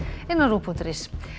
rúv punktur is